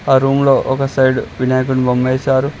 ఆ రూమ్ లో ఒక సైడ్ వినాయకుని బొమ్మ ఎసారు.